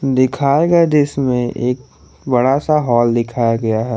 दिखाए गए दृश्य मे एक बड़ा सा हॉल दिखाया गया है।